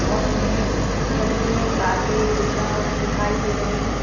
और हमें जमीन में कारपेट बिछा दिखाई दे रहा है।